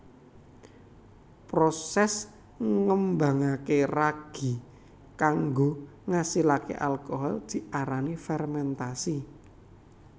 Proses ngembangaké ragi kanggo ngasilaké alkohol diarani fermentasi